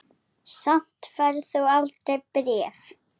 Samt færð þú aldrei bréf.